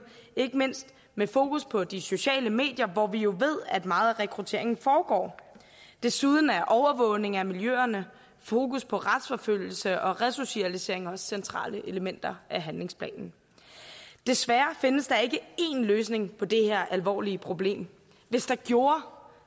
ikke mindst med fokus på de sociale medier hvor vi jo ved at meget af rekrutteringen foregår desuden er overvågning af miljøerne fokus på retsforfølgelse og resocialisering også centrale elementer i handlingsplanen desværre findes der ikke én løsning på det her alvorlige problem hvis der gjorde